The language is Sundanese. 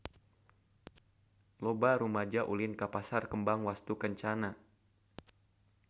Loba rumaja ulin ka Pasar Kembang Wastukencana